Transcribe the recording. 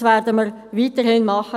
Dies werden wir weiterhin tun.